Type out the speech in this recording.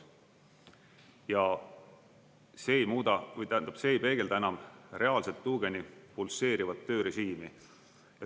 Ja see ei muuda, tähendab, see ei peegelda enam reaalset tuugeni pulseerivat töörežiimi.